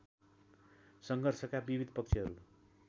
सङ्घर्षका विविध पक्षहरु